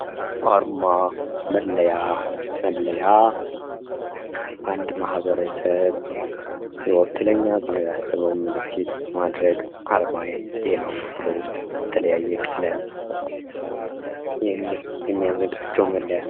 አርማ መለያ መለያ 1 ማኅበረሰብ ይወክለኛል ብሎ ያሰበውን ምልክት በማድረግ አርማዬ ይሄ ነው ብሎ በተለያየ ቀለም የሚያዘጋጀው መለያ ነው።